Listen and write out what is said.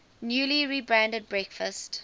newly rebranded breakfast